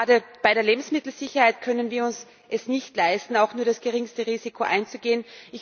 Gerade bei der Lebensmittelsicherheit können wir es uns nicht leisten, auch nur das geringste Risiko einzugehen.